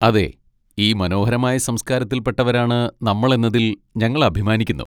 അതെ, ഈ മനോഹരമായ സംസ്കാരത്തിൽ പെട്ടവരാണ് നമ്മൾ എന്നതിൽ ഞങ്ങൾ അഭിമാനിക്കുന്നു.